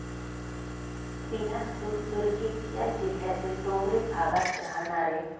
बिलासपूर, दुर्ग या जिल्यातील डोंगरी भागात राहाणारे.